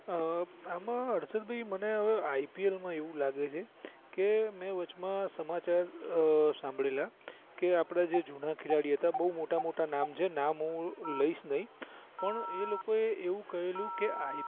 એમાં હર્ષદ ભાઈ મને હવે IPL માં એવું લાગે છે કે મેં વચમાં સમાચાર સાંભળેલા કે આપડા જે જુના ખેલાડી હતા તે બવ મોટા મોટા નામ છે નામ હુ લઇસ નહી પણ એ લોકોએ એવું કહેલું